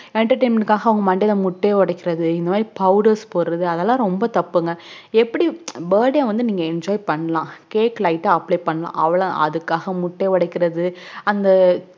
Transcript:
entertainment க்காக அவங்க மண்டைல முட்டை ஓடைக்குறது இந்த மாதிரி powders போடுறது அதலாம் ரொம்ப தப்புங்க எப்புடி burday அஹ் enjoy பண்ணலாம் cakelite ஆஹ் apply பண்ணலாம் அவல அதுக்காக முட்டை ஓடைக்குரது அந்த